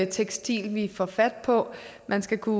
tekstiler vi får fat på man skal kunne